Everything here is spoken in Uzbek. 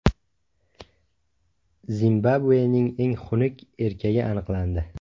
Zimbabvening eng xunuk erkagi aniqlandi.